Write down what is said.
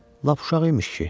Lap uşaq imiş ki.